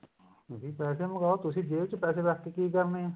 ਜੀ ਪੈਸੇ ਮੰਗਾਓ ਤੁਸੀਂ ਜੇਬ ਚ ਪੈਸੇ ਰੱਖ ਕੇ ਕੀ ਕਰਨੇ ਐ